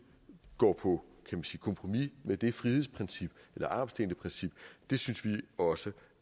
går på kompromis med det frihedsprincip eller armslængdeprincip synes vi også